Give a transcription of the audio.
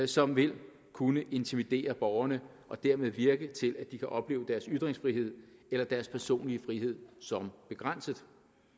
som vil kunne intimidere borgerne og dermed virke til at de kan opleve deres ytringsfrihed eller deres personlige frihed som begrænset